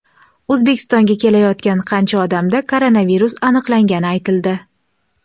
O‘zbekistonga kelayotgan qancha odamda koronavirus aniqlangani aytildi.